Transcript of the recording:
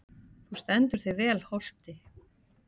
Þú stendur þig vel, Holti!